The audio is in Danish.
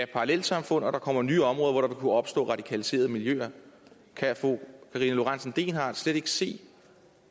parallelsamfund og kommer nye områder hvor der vil kunne opstå radikaliserede miljøer kan fru karina lorentzen dehnhardt slet ikke se